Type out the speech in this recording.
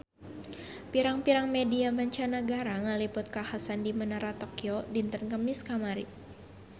Pirang-pirang media mancanagara ngaliput kakhasan di Menara Tokyo dinten Kemis kamari